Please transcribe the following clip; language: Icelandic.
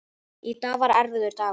Í dag er erfiður dagur.